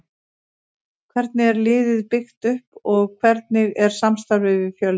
Hvernig er liðið byggt upp og hvernig er samstarfið við Fjölni?